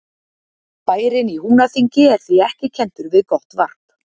Bærinn í Húnaþingi er því ekki kenndur við gott varp.